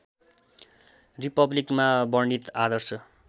रिपब्लिकमा वर्णित आदर्श